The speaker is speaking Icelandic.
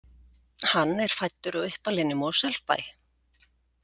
Hann er fæddur og uppalinn í Mosfellsbæ.